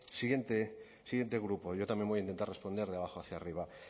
siguiente grupo yo también voy a intentar responder de abajo hacia arriba